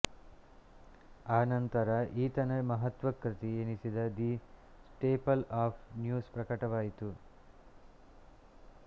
ಆನಂತರ ಈತನ ಮಹತ್ತ್ವ ಕೃತಿ ಎನಿಸಿದ ದಿ ಸ್ಟೇಪಲ್ ಆಫ್ ನ್ಯೂಸ್ ಪ್ರಕಟವಾಯಿತು